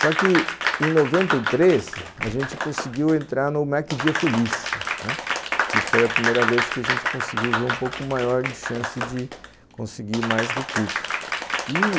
Só que em noventa e três, a gente conseguiu entrar no Mac Dia Feliz, né, que foi a primeira vez que a gente conseguiu ver um pouco maior de chance de conseguir mais recursos, e